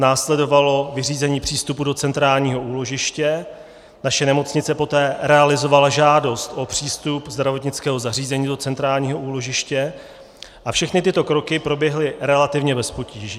Následovalo vyřízení přístupu do centrálního úložiště, naše nemocnice poté realizovala žádost o přístup zdravotnického zařízení do centrálního úložiště a všechny tyto kroky proběhly relativně bez potíží.